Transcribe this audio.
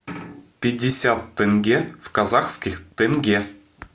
пятьдесят тенге в казахских тенге